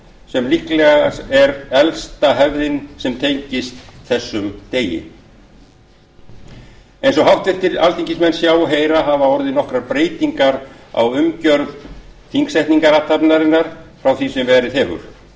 sem líklega er elsta hefð sem tengist þessum degi eins og háttvirtir alþingismenn sjá og heyra hafa orðið nokkrar breytingar á umgjörð þingsetningarathafnarinnar frá því sem verið hefur